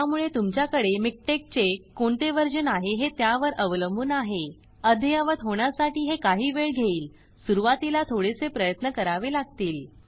त्यामुळे तुमच्याकडे मिकटेक्स चे कोणते वर्जन आहे हे त्यावर अवलंबून आहे अद्ययावत होण्यासाठी हे काही वेळ घेईल सुरवातीला थोडेसे प्रयत्न करावे लागतील